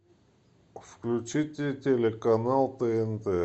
включите телеканал тнт